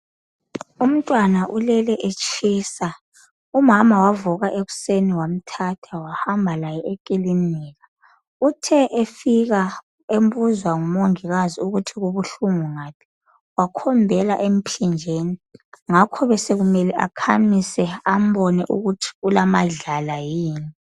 Umntwana ulele etshisa umama wavuka ekuseni wamthatha wahamba laye ekilinika. Uthe efika bembuza ngumongikazi ukuthi kubuhlungu ngaphi, wakhombela emphinjeni. Ngakho besekumele akhamise ambone ukuthi ulamadlala yini.